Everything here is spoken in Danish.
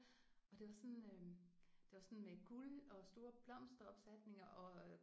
Og det var sådan øh det var sådan med guld og store blomsteropsætninger og